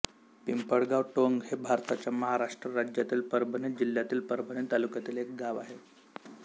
पिंपळगाव टोंग हे भारताच्या महाराष्ट्र राज्यातील परभणी जिल्ह्यातील परभणी तालुक्यातील एक गाव आहे